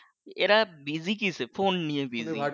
এরা বাসায় কীসে ফোন নিয়ে বাসায়